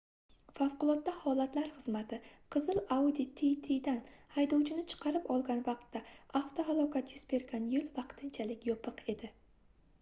favqulodda holatlar xizmati qizil audi tt dan haydovchini chiqarib olgan vaqtda avtohalokat yuz bergan yoʻl vaqtinchalik yopiq edi